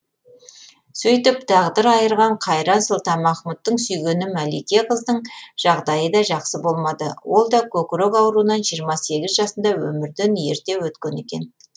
сөйтіп тағдыр айырған қайран сұлтанмахмұттың сүйгені мәлике қыздың жағдайы да жақсы болмады ол да көкірек ауруынан жиырма сегіз жасында өмірден ерте өткен екен